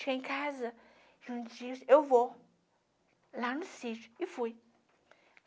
Cheguei em casa, e um dia eu vou lá no sítio, e fui.